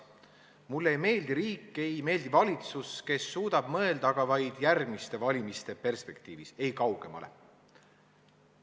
Mulle ei meeldi riik, ei meeldi valitsus, kes suudab mõelda aga vaid järgmiste valimiste perspektiivis, ei kaugemale.